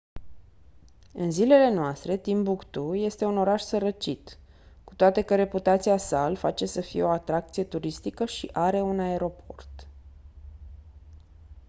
în zilele noastre timbuktu este un oraș sărăcit cu toate că reputația sa îl face să fie o atracție turistică și are un aeroport